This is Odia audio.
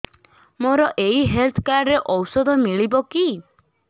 ମୋର ଏଇ ହେଲ୍ଥ କାର୍ଡ ରେ ଔଷଧ ମିଳିବ କି